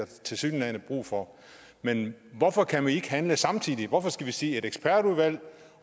tilsyneladende brug for men hvorfor kan vi ikke handle samtidig hvorfor skal vi sige at et ekspertudvalg